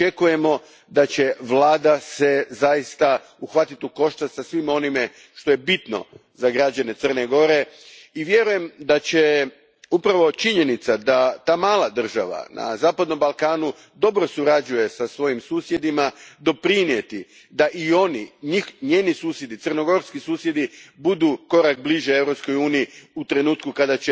Očekujemo da će se vlada zaista uhvatiti u koštac sa svim onim što je bitno za građane Crne Gore i vjerujem da će upravo činjenica da ta mala država na zapadnom Balkanu dobro surađuje sa svojim susjedima doprinijeti da i oni, njeni susjedi, crnogorski susjedi, budu korak bliže Europskoj uniji u trenutku kada